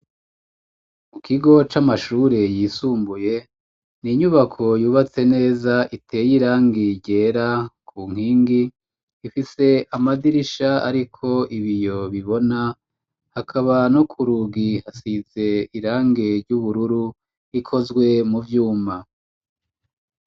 Mu kigo c'amashure yisumbuye n'inyubako yubatse neza iteye irangi ryera ku nkingi ifise amadirisha ariko ibiyo bibona hakaba no ku rugi hasize irange ry'ubururu ikozwe mu vyuma.